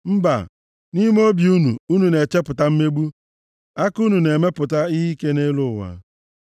Mba, nʼime obi unu, unu na-echepụta mmegbu, aka unu na-emepụta ihe ike nʼelu ụwa.